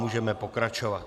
Můžeme pokračovat.